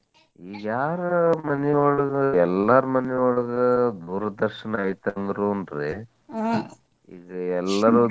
ಈಗ ಯಾರ್ ಮನಿ ಒಳಗ್ ಎಲ್ಲಾರ್ ಮನಿ ಒಳಗ್ ದೂರದರ್ಶನ ಐತಿ ಅಂದ್ರು ರೀ ಇಲ್ಲಿ ಎಲ್ಲಾರು